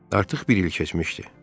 Artıq bir il keçmişdi.